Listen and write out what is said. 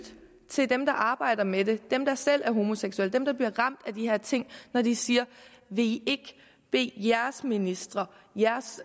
til dem der arbejder med det dem der selv er homoseksuelle dem der bliver ramt af de her ting når de siger vil i ikke bede jeres ministre jeres